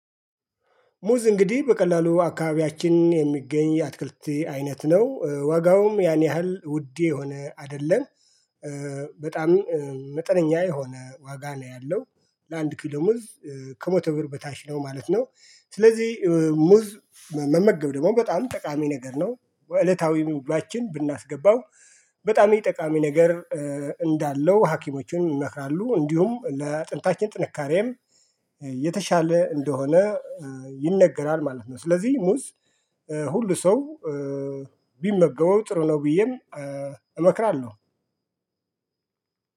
ሙዝ እንግዲህ በቀላሉ አካባቢያችን የሚገኝ አትክልት አይነት ነው ዋጋውም ያን ያህል ውድ የሆነ አይደለም። በጣም መጠነኛ የሆነ ዋጋ ነው ያለው ለአንድ ኪሎ ሙዝ ከመቶ ብር በታች ነው ማለት ነው። ስለዚህ ሙዝ መመገብ ደግሞ በጣም ጠቃሚ ነገር ነው። እለታዊም ምግባችን ብናስገባው በጣም የ ጠቃሚ ነገር እንዳለው ሀኪሞችም ይመክራሉ እንዲሁም ለአጥንታችን ጥንካሬም የተሻለ እንደሆነ ይነገራል ማለት ነው። ስለዚህ ሙዝ ሁሉ ሰው ቢመገበው ጥሩ ነው። ብዬም እመክራለሁ።